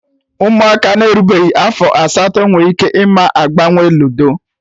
Ụmụaka na-erubeghị afọ asatọ nwe ike ịma agbanwe ludo